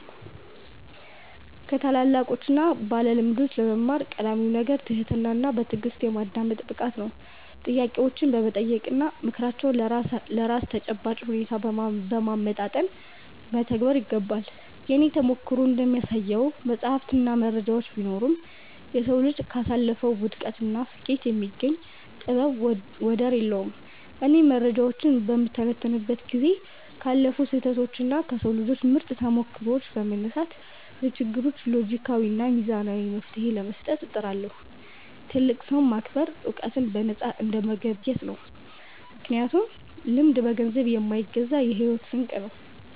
ከታላላቆችና ባለልምዶች ለመማር ቀዳሚው ነገር ትህትናና በትዕግሥት የማዳመጥ ብቃት ነው። ጥያቄዎችን በመጠየቅና ምክራቸውን ለራስ ተጨባጭ ሁኔታ በማመጣጠን መተግበር ይገባል። የእኔ ተሞክሮ እንደሚያሳየው፣ መጻሕፍትና መረጃዎች ቢኖሩም፣ የሰው ልጅ ካሳለፈው ውድቀትና ስኬት የሚገኝ ጥበብ ወደር የለውም። እኔም መረጃዎችን በምተነትንበት ጊዜ ካለፉ ስህተቶችና ከሰው ልጆች ምርጥ ተሞክሮዎች በመነሳት፣ ለችግሮች ሎጂካዊና ሚዛናዊ መፍትሔ ለመስጠት እጥራለሁ። ትልቅን ሰው ማክበር ዕውቀትን በነፃ እንደመገብየት ነው፤ ምክንያቱም ልምድ በገንዘብ የማይገዛ የሕይወት ስንቅ ነው።